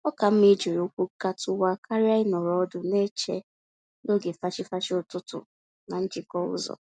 Oka mma ijiri ụkwụ gatuwa karịa ịnọrọ ọdụ n'eche n'oge fachi-fachi ụtụtụ na njikọ ụzọ